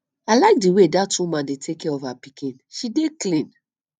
i like the way dat woman dey take care of her pikin she dey clean